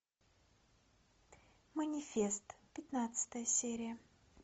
манифест пятнадцатая серия